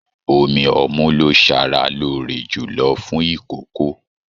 Omí ọmu lo sára lóore jùlọ fún ikòkò.